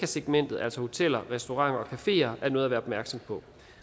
segmentet altså hoteller restauranter og cafeer er noget at være opmærksom på